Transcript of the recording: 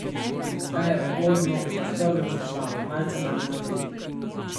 Zadaj je ugodno prostorno za dva, malce manj za tri.